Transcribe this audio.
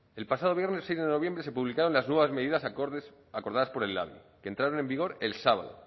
el pasado viernes seis de noviembre se publicaron las nuevas medidas acordadas por el labi que entraron en vigor el sábado